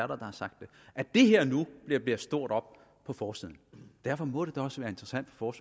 der har sagt det at det her nu bliver blæst stort op på forsiden derfor må det også være interessant for